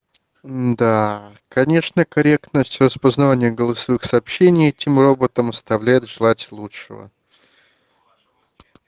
да конечно корректность распознавание голосовых сообщений этим роботам оставляет желать лучшего